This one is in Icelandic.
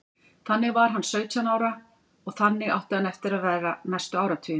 Þannig var hann sautján ára og þannig átti hann eftir að vera næstu áratugina.